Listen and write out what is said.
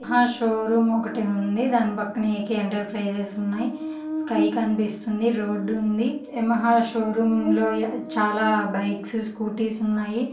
--హ షోరూమ్ ఒకటి ఉంది దాని పక్కన ఎ_కె ఎంట్రప్రెస్స్ ఉన్నాయ్ స్కై కనిపిస్తుంది రోడ్ ఉంది ఉమ్ యమహా షోరూమ్ లొ చాలా